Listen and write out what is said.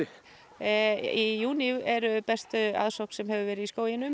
í júní er besta aðsókn sem hefur verið í skóginum